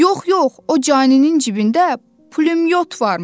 Yox, yox, o caninin cibində pulyot varmış.